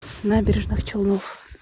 набережных челнов